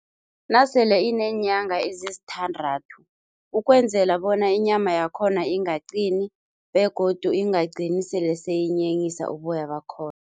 Nasele ineenyanga ezisithandathu. Ukwenzela bona inyama yakhona ingaqini begodu ingagcini sele seyinyenyisa uboya bakhona.